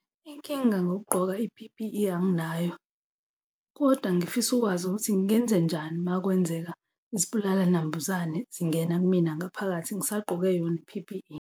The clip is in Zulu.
Inkinga ngokugqoka i-P_P_E anginayo, kodwa ngifisa ukwazi ukuthi ngenzenjani uma kwenzeka izibulala nambuzane zingena kumina ngaphakathi ngisagqoke yona i-P_P_E.